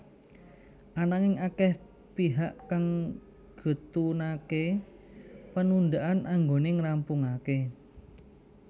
Ananging akeh pihak kang getunaké penundaan anggoné ngrampungaké